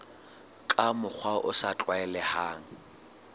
ka mokgwa o sa tlwaelehang